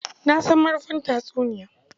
Na san marufin tatsuniya